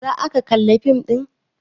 Za aka kalla fim ɗin?